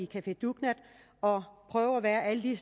café dugnad og prøvet at være alle